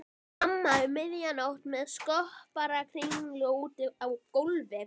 Mamma um miðja nótt með skopparakringlu úti á gólfi.